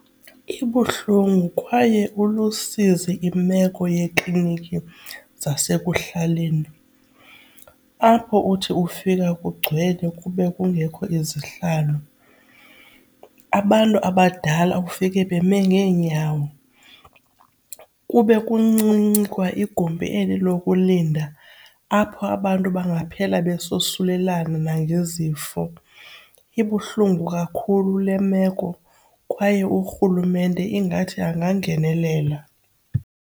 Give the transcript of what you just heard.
Ibuhlungu kwaye ulusizi imeko yeekliniki zasekuhlaleni apho uthi ufika kugcwele kube kungekho izihlalo, abantu abadala ufike beme ngeenyawo. Kube kuncinci kwa igumbi eli lokulinda apho abantu bangaphela besosulelana nangezifo. Ibuhlungu kakhulu le meko kwaye urhulumente ingathi angangenelela.